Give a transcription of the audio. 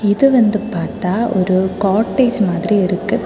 இது வந்து பாத்தா ஒரு காட்டேஜ் மாதிரி இருக்கு.